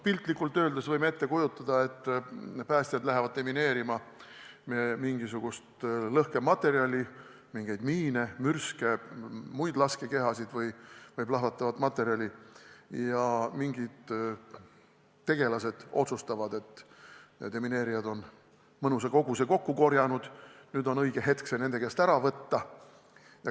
Piltlikult öeldes võime ette kujutada, et päästjad lähevad demineerima mingisugust lõhkematerjali, näiteks miine, mürske, muid laskekehasid või plahvatavat materjali, aga mingid tegelased otsustavad, et kuna demineerijad on mõnusa koguse kokku korjanud, siis nüüd on õige hetk see neil käest ära võtta.